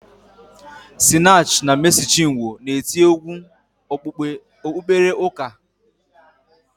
Sinach na Mesi Chinwo na-eti egwu okpukpere ụka